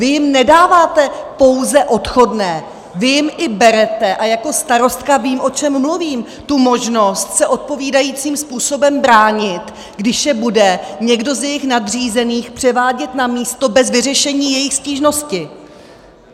Vy jim nedáváte pouze odchodné, vy jim i berete - a jako starostka vím, o čem mluvím - tu možnost se odpovídajícím způsobem bránit, když je bude někdo z jejich nadřízených převádět na místo bez vyřešení jejich stížnosti.